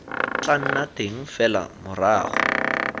tla nna teng fela morago